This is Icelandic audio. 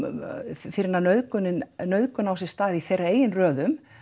fyrr en að nauðgun nauðgun á sér stað í þeirra eigin röðum